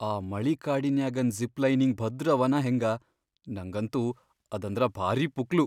ಆ ಮಳಿಕಾಡಿನ್ಯಾಗನ್ zip lining ಭದ್ರ್ ಅವನಾ ಹೆಂಗ? ನಂಗಂತೂ ಅದಂದ್ರ ಭಾರೀ ಪುಕ್ಲು.